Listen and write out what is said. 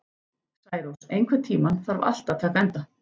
Særós, einhvern tímann þarf allt að taka enda.